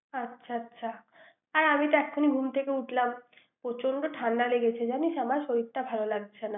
হ্যাঁ, আচ্ছা আচ্ছা আমি যে এক্ষুনি ঘুম থেকে উঠলাম প্রচন্ড ঠান্ডা লেগেছে জানিস আমার শরীরটা ভালো লাগছেনা ৷